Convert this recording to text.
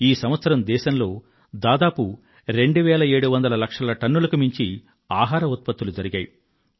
ఈ సంవత్సరం దేశంలో దాదాపు రెండువేల ఏడువందల లక్షల టన్నులకు మించి ఆహార ధాన్యాలను ఉత్పత్తి చేయడం జరిగింది